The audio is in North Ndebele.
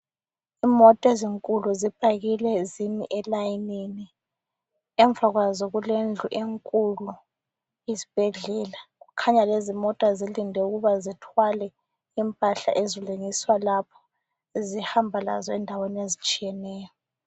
Imota ezinkulu zipakile, zimi elayinini. Emva kwazo kulendlu enkulu isibhedlela. Kukhanya lezimota zilinde ukuba zithwale impahla ezilungiswa lapho ezihamba lazo endaweni ezitshiyeneyo.